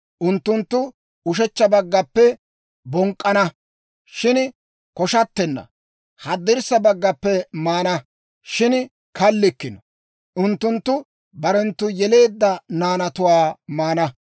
Unttunttu ushechcha baggappe bonk'k'ana; shin koshattanna; haddirssa baggappe maana; shin kallikkino; unttunttu barenttu yeleedda naanatuwaa maana.